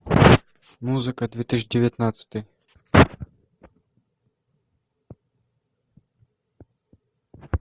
музыка две тысячи девятнадцатый